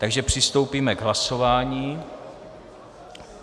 Takže přistoupíme k hlasování.